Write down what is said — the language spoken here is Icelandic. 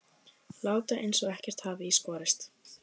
Láta eins og ekkert hafi í skorist.